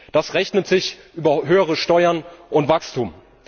Das rechnet sich über höhere Steuern und Wachstum.